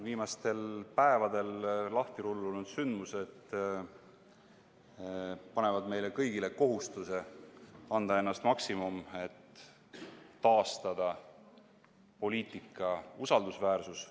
Viimastel päevadel lahtirullunud sündmused panevad meile kõigile kohustuse anda endast maksimumi, et taastada poliitika usaldusväärsus.